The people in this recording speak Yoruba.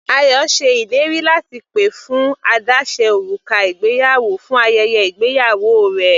Ayọ ṣe ìlérí láti pè fún àdáse òrùka ìgbéyàwó fún ayẹyẹ ìgbéyàwó rẹ̀.